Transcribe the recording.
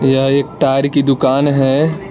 यह एक टायर की दुकान है।